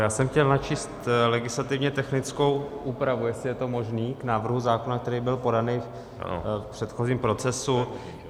Já jsem chtěl načíst legislativně technickou úpravu, jestli je to možné, k návrhu zákona, který byl podán v předchozím procesu.